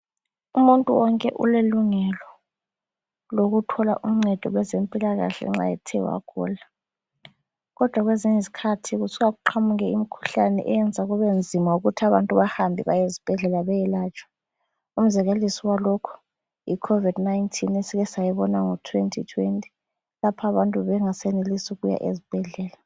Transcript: Umuntu wonke ulelungelo lokuthola uncedo kwezempilakahle nxa ethe wagula. Kodwa kwezinye izikhathi kusuka kuqamuke imikhuhlane eyenza kubenzima ukuthi abantu bahambe bayezibhedlela beyelatshwa. Umzekeliso walokho Yi COVID-19 esika sayibona ngo2020 lapho abantu bebengaseyenelisi ukuya ezibhedlela.